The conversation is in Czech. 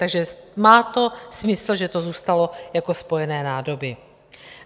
Takže má to smysl, že to zůstalo jako spojené nádoby.